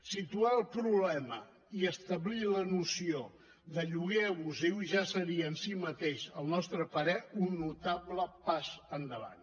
situar el problema i establir la noció de lloguer abusiu ja seria en si mateix al nostre parer un notable pas endavant